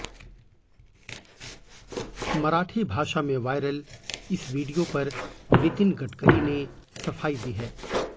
मराठी भाषा में वायरल इस वीडियो पर नितीन गड़करी ने सफाई दी है